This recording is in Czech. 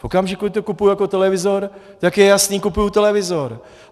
V okamžiku, kdy to kupuju jako televizor, tak je jasné, kupuju televizor.